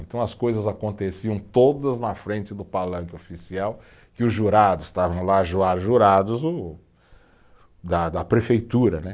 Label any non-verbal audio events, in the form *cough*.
Então as coisas aconteciam todas na frente do palanque oficial, que os jurados estavam lá, *unintelligible* jurados o, da da prefeitura, né?